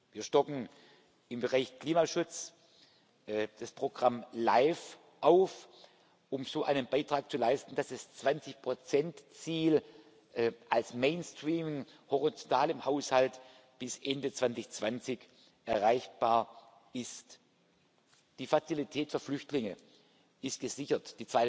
Wir stocken im Bereich Klimaschutz das Programm LIFE auf, um so einen Beitrag zu leisten, dass das 20 Prozent Ziel als Mainstream proportional im Haushalt bis Ende 2020 erreichbar ist. Die Fazilität für Flüchtlinge ist gesichert.